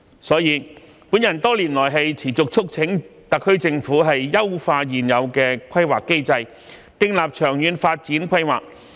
所以，我多年來持續促請特區政府優化現有的規劃機制，訂立長遠發展規劃。